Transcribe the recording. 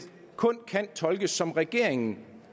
kun kan tolkes sådan som regeringen